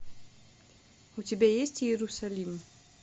у тебя есть иерусалим